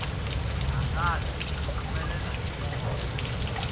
dangari yi humele hi moya